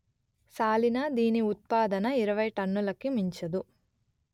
సాలీనా దీని ఉత్పాదన ఇరవై టన్నులకి మించదు